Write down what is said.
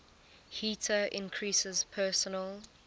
heater increases personal